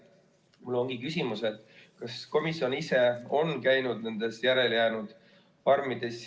Mul ongi küsimus, kas komisjon ise on käinud nendes järelejäänud farmides.